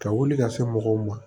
Ka wuli ka se mɔgɔw ma